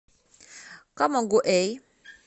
камагуэй